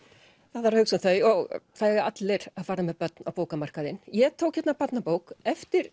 það þarf að hugsa um þau það eiga allir að fara með börn á bókamarkaðinn ég tók hérna barnabók eftir